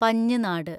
പഞ്ഞ്നാട്